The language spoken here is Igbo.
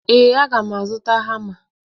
Ee, a ga m azụta hama.